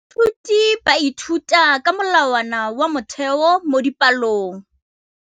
Baithuti ba ithuta ka molawana wa motheo mo dipalong.